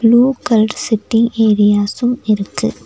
Blue colour setting areas இருக்கு.